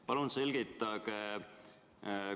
Palun selgitage!